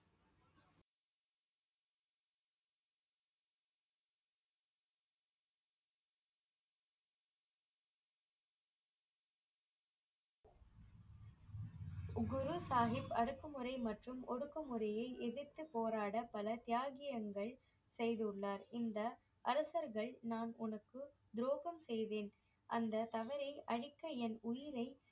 குரு சாஹிப் அடக்குமுறை மற்றும் ஒடுக்குமுறையை எதிர்த்துப் போராட பல தியாகியங்கள் செய்துள்ளார் இந்த அரசர்கள் நான் உனக்கு துரோகம் செய்வேன் அந்த தவறை அழிக்க என் உயிரை